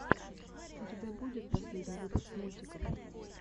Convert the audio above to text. у тебя будет последний выпуск мультиков